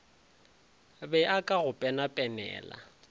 be a ka go penapenela